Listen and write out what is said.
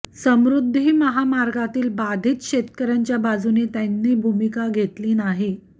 समृध्दी महामार्गातील बाधीत शेतकर्यांच्या बाजूने त्यांनी भूमिका घेतली नाही